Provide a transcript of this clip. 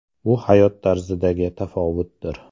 Bu hayot tarzidagi tafovutdir.